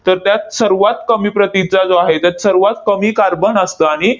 तर त्यात सर्वात कमी प्रतीचा जो आहे, त्यात सर्वात कमी कार्बन असतं. आणि